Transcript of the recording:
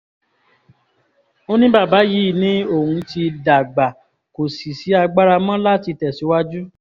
ó ní bàbá yìí ni òun ti dá gbà kò sì sí agbára mọ́ láti tẹ̀síwájú